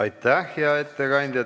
Aitäh, hea ettekandja!